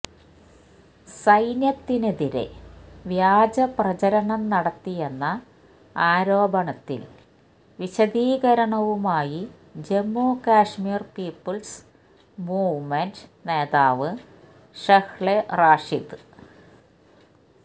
സൈന്യത്തിനെതിരെ വ്യാജ പ്രചാരണം നടത്തിയെന്ന ആരോപണത്തില് വിശദീകരണവുമായി ജമ്മു കശ്മീര് പീപ്പിള്സ് മൂവ്മെന്റ് നേതാവ് ഷെഹ്ല റാഷിദ്